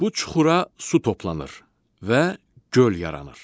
Bu çuxura su toplanır və göl yaranır.